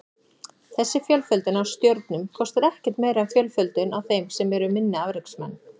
Þessi fjölföldun á stjörnum kostar ekkert meira en fjölföldun á þeim sem eru minni afreksmenn.